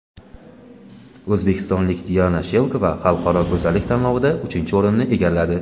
O‘zbekistonlik Diana Shelkova xalqaro go‘zallik tanlovida uchinchi o‘rinni egalladi.